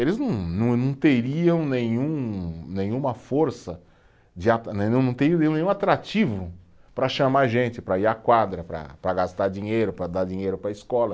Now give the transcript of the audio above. Eles não não, não teriam nenhum, nenhuma força de atra, não teriam nenhum atrativo para chamar gente, para ir à quadra, para para gastar dinheiro, para dar dinheiro para a escola.